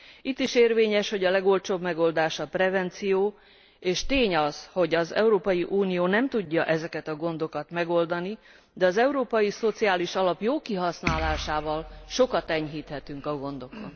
Itt is érvényes, hogy a legolcsóbb megoldás a prevenció, és tény az, hogy az Európai Unió nem tudja ezeket a gondokat megoldani, de az Európai Szociális Alap jó kihasználásával sokat enyhíthetünk a gondokon.